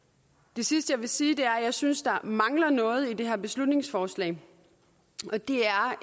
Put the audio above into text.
det sidste jeg vil sige er at jeg synes der mangler noget i det her beslutningsforslag